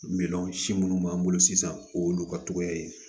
Miliyɔn si minnu b'an bolo sisan o y'olu ka cogoya ye